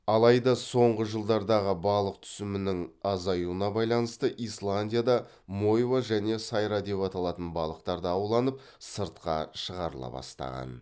алайда соңғы жылдардағы балық түсімінің азаюына байланысты исландияда мойва және сайра деп аталатын балықтар да ауланып сыртқа шығарыла бастаған